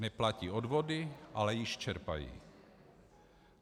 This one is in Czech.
Neplatí odvody, ale již čerpají.